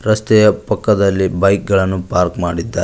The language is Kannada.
ರಸ್ತೆಯ ಪಕ್ಕದಲ್ಲಿ ಬೈಕ್ ಗಳನ್ನು ಪಾರ್ಕ್ ಮಾಡಿದ್ದಾರೆ.